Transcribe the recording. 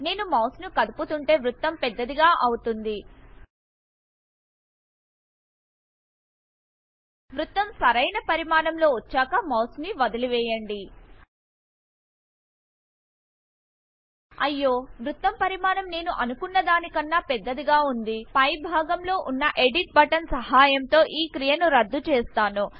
నేను మౌస్ ని కదుపుతుంటే వృత్తం పెద్దది గా అవుతుంది వృత్తం సరైన పరిమాణం లో వచ్చాక మౌస్ ను వదిలి వేయండి అయ్యో వృత్తం పరిమాణం నేను అనుకున్నదాని కన్నా పెద్దదిగా వుంది పై భాగం లో వున్న ఎడిట్ బటన్ సహాయంతో ఈ క్రియను రద్దు చెస్తాను